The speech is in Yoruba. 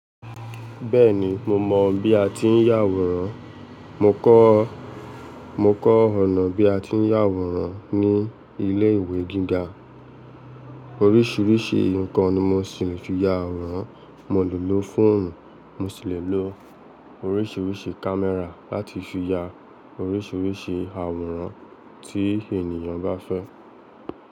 Bẹ́ẹ̀ni, mo mọ bí a ti ń ya àwòrán. Mo kọ́, mo kọ́ ọ̀nà bí a ti ń ya àwòrán ní ilé ìwé gíga. Oríṣiríṣi nǹkan ni mo sì lè fi ya àwòrán. Mo lè lo fóònù, mo sì lè lo oríṣiríṣi kámẹ́rà láti fi ya oríṣiríṣi àwòrán tí ènìyàn bá fẹ́